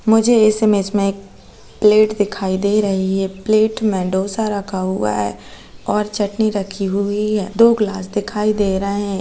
मुझे इस मेज में एक प्लेट दिखाई दे रही है। प्लेट में डोसा रखा हुआ है और चटनी रखी हुई है दो ग्लास दिखाई दे रहे हैं।